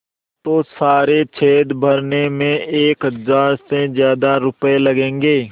तो सारे छेद भरने में एक हज़ार से ज़्यादा रुपये लगेंगे